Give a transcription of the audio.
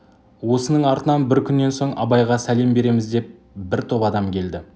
осының артынан бір күннен соң абайға сәлем береміз деп бір топ адам келді